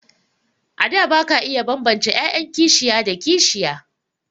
A da ba ka iya bambance 'ya'yan kishiya da kishiya.